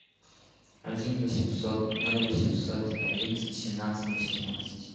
один восемьсот ноль восемьсот одиннадцать семнадцать восемнадцать